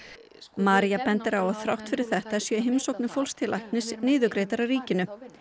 María bendir á að þrátt fyrir þetta séu heimsóknir fólks til læknis niðurgreiddar af ríki